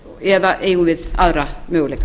eða eigum við aðra möguleika